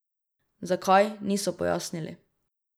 Zakaj, niso pojasnili.